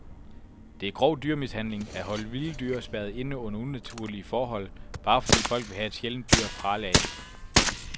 Det er grov dyremishandling at holde vilde dyr spærret inde under unaturlige forhold, bare fordi folk vil have et sjældent dyr at prale af.